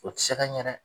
O tɛ se ka ɲɛ dɛ